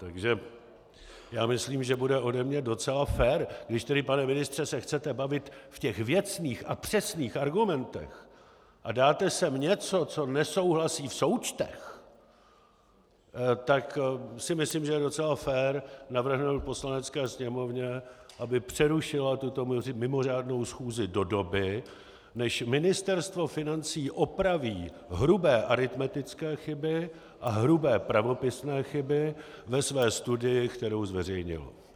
Takže já myslím, že bude ode mě docela fér, když tedy, pane ministře, se chcete bavit v těch věcných a přesných argumentech a dáte sem něco, co nesouhlasí v součtech, tak si myslím, že je docela fér navrhnout Poslanecké sněmovně, aby přerušila tuto mimořádnou schůzi do doby, než Ministerstvo financí opraví hrubé aritmetické chyby a hrubé pravopisné chyby ve své studii, kterou zveřejnilo.